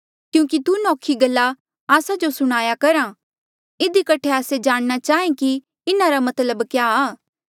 क्यूंकि तू नौखी गल्ला आस्सा जो सुणाया करहा इधी कठे आस्से जाणना चाहें कि इन्हारा मतलब क्या आ